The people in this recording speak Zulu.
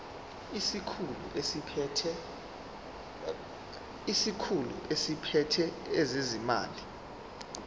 isikhulu esiphethe ezezimali